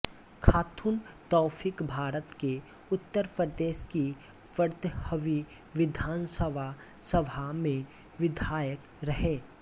खातून तौफीकभारत के उत्तर प्रदेश की पंद्रहवी विधानसभा सभा में विधायक रहे